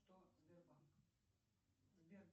что сбербанк сбер